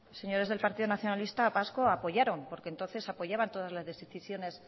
señores del partido nacionalista vasco apoyaron porque entonces apoyaban todas las decisiones